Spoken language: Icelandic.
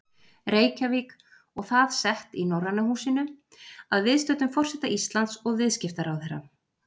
Reykjavík og það sett í Norræna húsinu að viðstöddum forseta Íslands og viðskiptaráðherra.